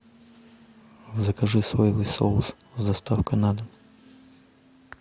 закажи соевый соус с доставкой на дом